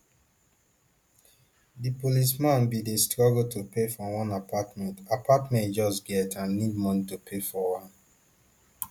di policeman bin dey struggle to pay for one apartment apartment e just get and need money to pay for am